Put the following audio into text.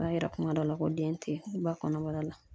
O b'a yira kuma dɔ la ko den te yen ba kɔnɔbara la